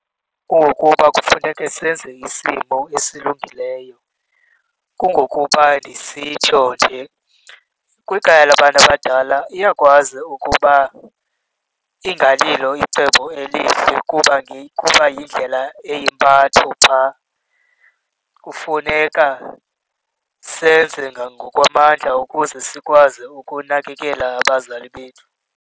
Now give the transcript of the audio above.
Ukuba kufuneke senze isimo esilungileyo. Kungokuba ndisitsho nje, kwikhaya labantu abadala iyakwazi ukuba ingalilo licebo elihle kuba yindlela eyimpatho phaa. Kufuneka senze ngokwamandla ukuze sikwazi ukunakekela abazali bethu.